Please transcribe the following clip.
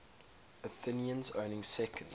athenians owning second